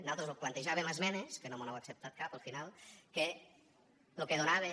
nosaltres plantejàvem esmenes que no mos n’han acceptat cap al final que lo que donaven